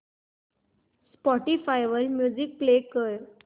Spotify वर music play कर